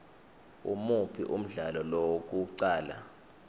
imuphi umdlalo wokuqala